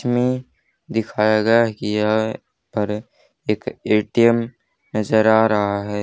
च में दिखाया गया है कि यह पर एक ए_टी_एम नजर आ रहा है।